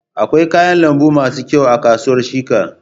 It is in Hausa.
Akwai kayan lambu masu kyau a kasuwar shika.